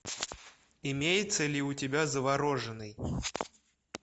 имеется ли у тебя завороженныи